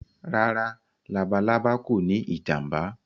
Rárá“ labalábá” kòní ìjàǹbá.